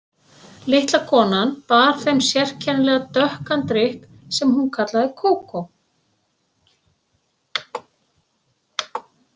Litla konan bar þeim sérkennilegan dökkan drykk sem hún kallaði kókó.